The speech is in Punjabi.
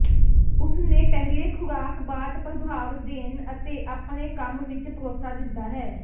ਉਸ ਨੇ ਪਹਿਲੇ ਖ਼ੁਰਾਕ ਬਾਅਦ ਪ੍ਰਭਾਵ ਦੇਣ ਅਤੇ ਆਪਣੇ ਕੰਮ ਵਿਚ ਭਰੋਸਾ ਦਿੰਦਾ ਹੈ